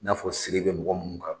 N'a fɔ siri bɛ mɔgɔ munnuw kan.